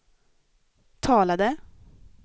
talade